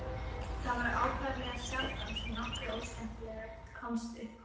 Það var ákaflega sjaldan sem nokkuð óskemmtilegt kom upp á.